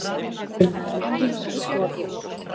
Bíllinn var með gilda skoðun.